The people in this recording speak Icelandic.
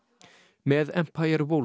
með